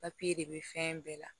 de bɛ fɛn bɛɛ la